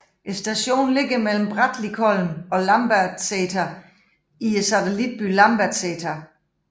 Stationen ligger mellem Brattlikollen og Lambertseter i satellitbyen Lambertseter